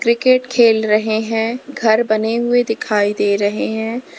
Cricket खेल रहे हैं घर बने हुए दिखाई दे रहे हैं।